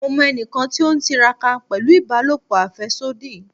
Mo mọ ẹnikan ti o tiraka pẹlu ibalopo afẹsodi